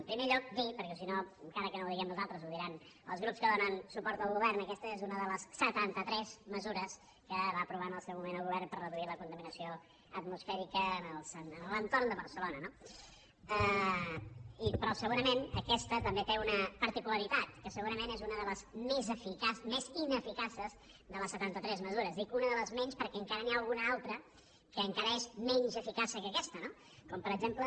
en primer lloc dir perquè si no encara que no ho diguem nosaltres ho diran els grups que donen suport al govern que aquesta és una de les setanta tres mesures que va aprovar en el seu moment el govern per reduir la contaminació atmosfèrica en l’entorn de barcelona no però segurament aquesta també té una particularitat que segurament és una de les més ineficaces de les setanta tres mesures dic una de les més menys perquè encara n’hi ha alguna altra que encara és menys eficaç que aquesta com per exemple